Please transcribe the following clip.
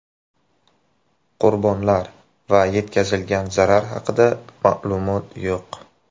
Qurbonlar va yetkazilgan zarar haqida ma’lumot yo‘q.